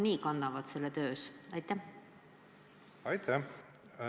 Aitäh!